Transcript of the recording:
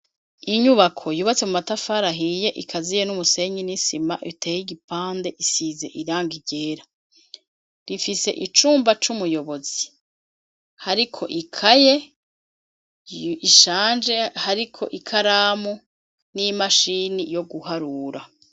Inyubako yubatse mumatafar'ahiye ikaziye n'umusenyi n'isima bitey'igipande isize irangi ryera , rifise icumba c'umuyobozi hariko ikaye ishaje, hariko ikaramu n'imashini yo guharura.